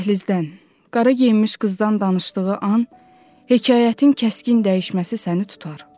Dəhlizdən qara geyinmiş qızdan danışdığı an hekayətin kəskin dəyişməsi səni tutar.